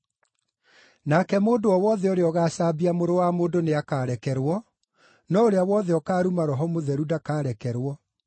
Nake mũndũ o wothe ũrĩa ũgaacambia Mũrũ wa Mũndũ nĩakarekerwo, no ũrĩa wothe ũkaruma Roho Mũtheru ndakarekerwo.